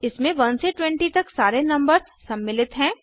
इसमें 1 से 20 तक सारे नंबर्स सम्मिलित हैं